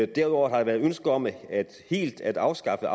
derudover har der været ønske om helt at afskaffe